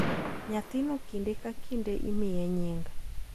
Nyathino kinde ka kinde imiye nying,